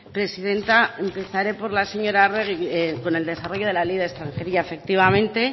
presidenta empezaré por la señora arregi con el desarrollo de la ley de extranjería efectivamente